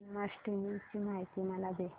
जन्माष्टमी ची माहिती मला दे